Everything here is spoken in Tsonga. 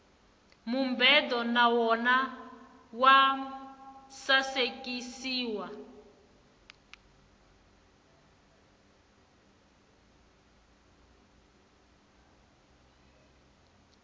mubedo na wona wa sasekisiwa